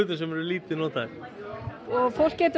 sem eru lítið notaðir fólk getur